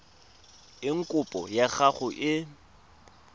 eng kopo ya gago e